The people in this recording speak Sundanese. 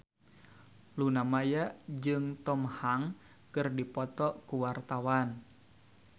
Luna Maya jeung Tom Hanks keur dipoto ku wartawan